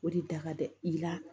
O de da ka gɛlɛn i la